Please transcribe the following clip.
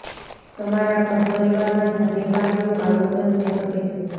તમારા ઘર પરિવારમાં ધાર્મિક કાર્યોનું આયોજન થઈ શકે છે